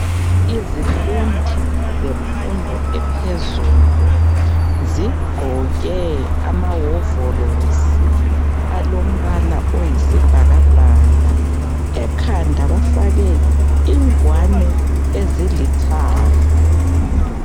Izifundi zemfundo ephezulu zigqoke amawovolosi alombala ayisibhakabhaka ekhanda bafake ingwane ezilithanga .